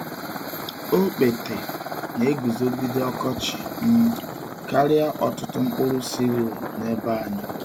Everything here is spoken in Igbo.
Okpete na-eguzogide ọkọchị um karịa ọtụtụ mkpụrụ cereal n’ebe anyị.